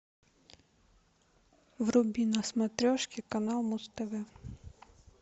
вруби на смотрешке канал муз тв